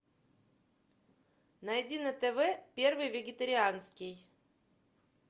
найди на тв первый вегетарианский